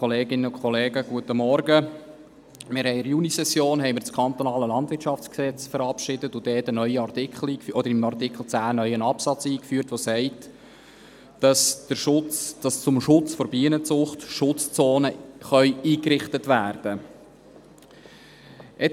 In der Junisession haben wir das Kantonale Landwirtschaftsgesetz (KLwG) verabschiedet und dort im Artikel 10 einen neuen Absatz eingeführt, der sagt, dass zum Schutz der Bienenzucht Schutzzonen eingerichtet werden können.